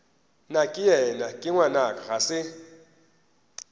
nakeyena ke ngwanaka ga se